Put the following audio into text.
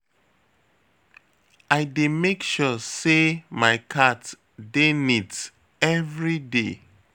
I dey make sure sey my cat dey neat everyday.